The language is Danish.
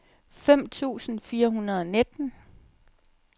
fem tusind fire hundrede og nitten